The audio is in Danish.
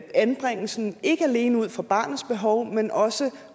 anbringelsen ikke alene ud fra barnets behov men også